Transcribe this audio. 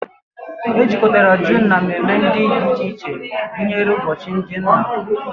Ejikọtara June na mmemme dị iche iche gụnyere ụbọchị ndị nna